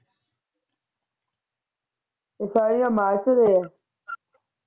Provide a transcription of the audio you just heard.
ਏ ਸਾਰੇ ਆ ਮਾਰਚ ਦੇ